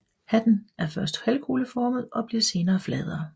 Hatten er først halvkugleformet og bliver senere fladere